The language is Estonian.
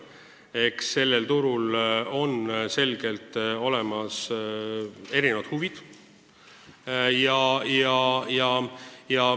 Eks sellel turul on ilmselgelt olemas erinevad huvid.